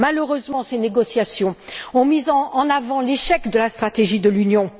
Malheureusement, ces négociations ont mis en avant l'échec de la stratégie de l'Union.